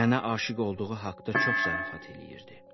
Mənə aşiq olduğu haqda çox zarafat eləyirdi.